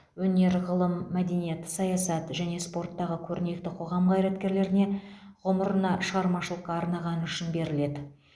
өнер ғылым мәдениет саясат және спорттағы көрнекті қоғам қайраткерлеріне ғұмырына шығармашылыққа арнағаны үшін беріледі